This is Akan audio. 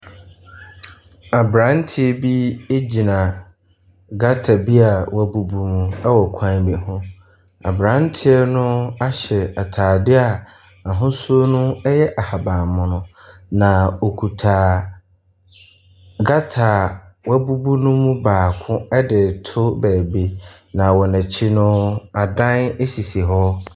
Aberanteɛ bi egyina gutter bi a wɔbubu ho ɛwɔ kwan bi ho. Abranteɛ no ahyɛ ataadeɛ a n'ahosuo no ɛyɛ ahaban mono na ɔkuta gutter a wɔabubu no mu baako. Na wɔn akyi no, adan esisi hɔ.